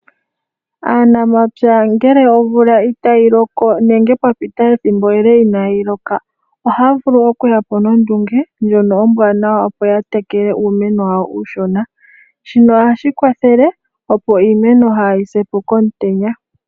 Aanamapya ngele omvula itayi loko nenge pwa pita ethimbo ele inaayi loka, ohaa vulu okuya po nondunge ndjono ombwanawa, opo ya tekele uumeno wawo uushona. Shino ohashi kwathele opo iimeno kaayi se po komutenya.